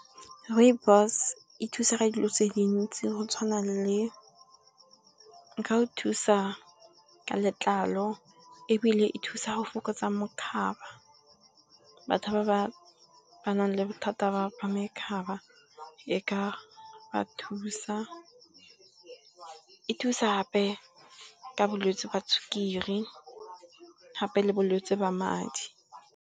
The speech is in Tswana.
Rooibos e thusa ka dilo tse dintsi go tshwana le, e ka go thusa ka letlalo ebile, e thusa go fokotsa mokhaba, batho ba ba nang le bothata ba mokhaba, e ka ba thusa, e thusa gape ka bolwetsi jwa sukiri gape le bolwetse ba madi.